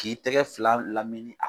K'i tɛgɛ fila lamini